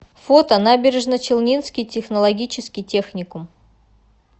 фото набережночелнинский технологический техникум